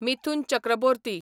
Mithun Chakraborty